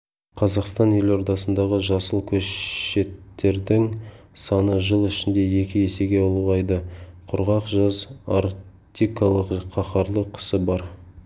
қазақстан елордасындағы жасыл көшеттердің саны жыл ішінде екі есеге ұлғайды құрғақ жаз арктикалық қаһарлы қысы бар